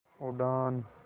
उड़ान